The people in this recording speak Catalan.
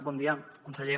bon dia conseller